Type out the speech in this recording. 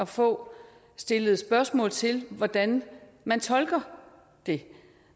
få stillet spørgsmål til hvordan man tolker det